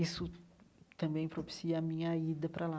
Isso também propicia a minha ida para lá.